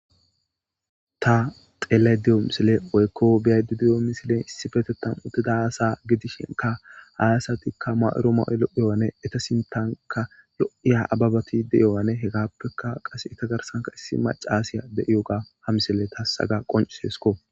ta xela diyo misile oykko biyadidiyo misilen issi fetetan uttida aasa gidishenka hayasatikka ma7uru ma7ule iyoane eta sintanka yo7iya ababatide yoane hegappeka qase ita garsanka issi maca aasiya de7iyoga ha misile tasaga qonciseesko